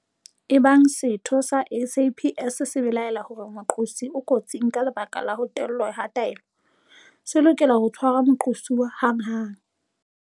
Ebang setho sa SAPS se belaela hore moqosi o kotsing ka lebaka la ho tellwa ha taelo, se lokela ho tshwara moqosuwa hanghang.